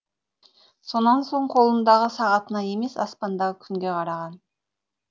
сонан соң қолындағы сағатына емес аспандағы күнге қараған